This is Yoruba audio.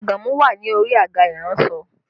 Àgàmú wà ní orí àga iransọ